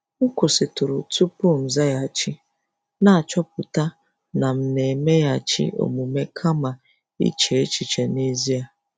M kwụsịtụrụ tupu m zaghachi, na-achọpụta na m na-emeghachi omume kama iche echiche n'ezie.